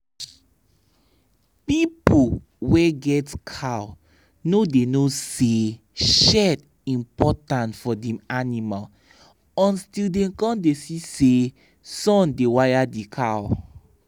people wey get cow no da know say shade important for dem animal until dem come da see say sun da waya dia cow